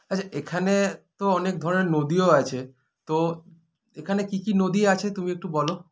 আচ্ছা এখানে তো অনেক ধরনের নদীও আছে তো এখানে কী কী নদী আছে তুমি একটু বলো